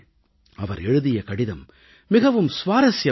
அவர் எழுதிய கடிதம் மிகவும் சுவாரஸியமானது